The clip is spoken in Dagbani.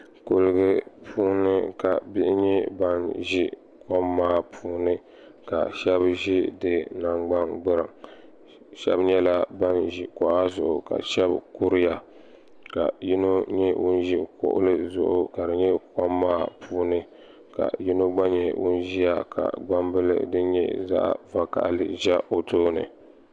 kuli puuni ka bihi nyɛ ban ʒɛ kom maa puuni ka shɛbi ʒɛ di nagbani gbɛriŋ shɛbi nyɛla ban ʒɛ kuɣ' zuɣ ka shɛbi kuriya kayino nyɛ ŋɔ ʒɛ kuɣ' zuɣ kom maa puuni ka yino gba nyɛ ŋɔ ʒɛya ka gbanibili din nyɛ zaɣ' vakahili ʒɛ o tuuni